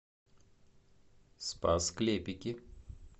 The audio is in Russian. спас клепики